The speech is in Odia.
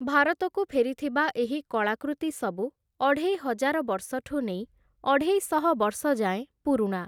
ଭାରତକୁ ଫେରିଥିବା ଏହି କଳାକୃତି ସବୁ ଅଢ଼େଇହଜାର ବର୍ଷଠୁ ନେଇ ଅଢ଼େଇଶହ ବର୍ଷ ଯାଏଁ ପୁରୁଣା ।